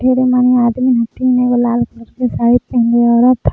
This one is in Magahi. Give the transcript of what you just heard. ढेरे मने आदमी हथिन एगो लाल कलर के साड़ी पेन्हले औरत--